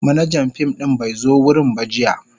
Manajan fim din bai zo wurin ba jiya.